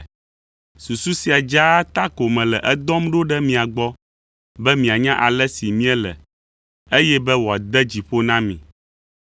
Susu sia dzaa ta ko mele edɔm ɖo ɖe mia gbɔ be mianya ale si míele, eye be wòade dzi ƒo na mi.